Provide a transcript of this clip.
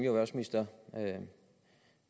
erhvervsminister